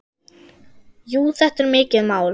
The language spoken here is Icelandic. Jú, þetta er mikið mál.